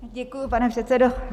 Děkuju, pane předsedo.